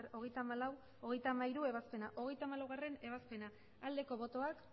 hogeita hamairugarrena ebazpena hogeita hamalaugarrena ebazpena aldeko botoak